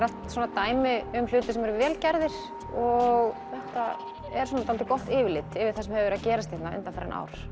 dæmi um hluti sem eru vel gerðir og þetta er gott yfirlit yfir það sem hefur verið að gerast hérna undanfarin ár